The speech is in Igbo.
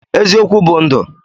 Eziokwu bụ ndụ.